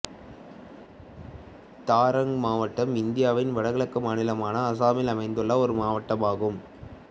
தர்ரங் மாவட்டம் இந்தியாவின் வடகிழக்கு மாநிலமான அசாமில் அமைந்துள்ள ஒரு மாவட்டமாகும்